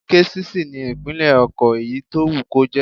Késìsì ni ìpínlẹ̀ ọkọ̀ èyí tó wù kó jẹ́